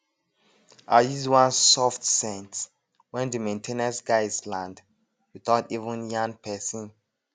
i use one soft scent when the main ten ance guys land without even yarn person